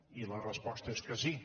i la resposta és que sí